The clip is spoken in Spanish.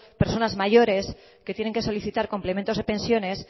personas mayores que tienen que solicitar complementos de pensiones